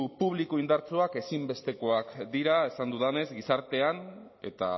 publiko indartsuak ezinbestekoak dira esan dudanez gizartean eta